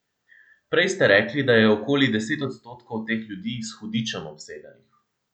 Prej ste rekli, da je okoli deset odstotkov teh ljudi s hudičem obsedenih.